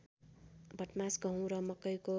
भटमास गहुँ र मकैको